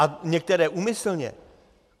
A některé úmyslně.